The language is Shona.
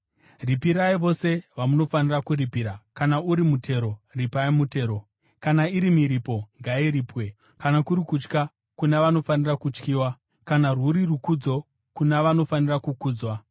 Ripirai vose vamunofanira kuripira: Kana uri mutero, ripai mutero; kana iri miripo, ngairipwe, kana kuri kutya, kuna vanofanira kutyiwa, kana rwuri rukudzo, kuna vanofanira kukudzwa.